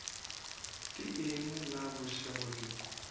ke eng na bošego bjo